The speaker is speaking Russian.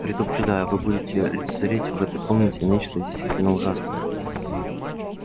предупреждаю вы будете лицезреть в этой комнате нечто действительно ужасное